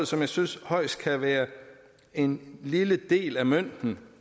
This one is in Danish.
som jeg synes højst kan være en lille del af mønten